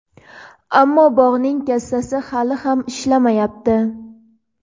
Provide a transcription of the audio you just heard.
ammo bog‘ning kassasi hali ham ishlamayapti.